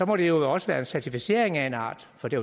må det jo også være en certificering af en art for det